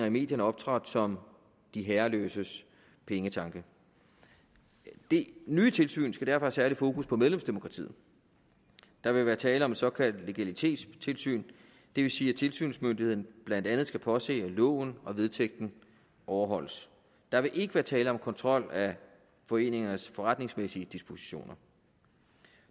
i medierne optrådt som de herreløses pengetanke det nye tilsyn skal derfor have særligt fokus på medlemsdemokratiet der vil være tale om et såkaldt legalitetstilsyn det vil sige at tilsynsmyndigheden blandt andet skal påse at loven og vedtægten overholdes der vil ikke være tale om kontrol af foreningernes forretningsmæssige dispositioner